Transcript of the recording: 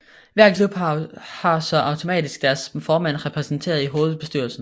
Hver klub har så automatisk deres formand repræsenteret i hovedbestyrelsen